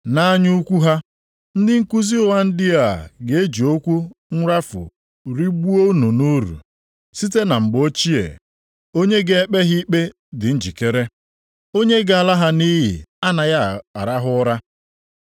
Nʼanya ukwu ha, ndị nkuzi ụgha ndị a ga-eji okwu nrafu rigbuo unu nʼuru. Site na mgbe ochie, onye ga-ekpe ha ikpe dị njikere. Onye ga-ala ha nʼiyi anaghị arahụ ụra.